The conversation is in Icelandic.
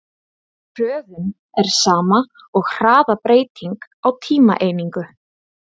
Hröðun er sama og hraðabreyting á tímaeiningu.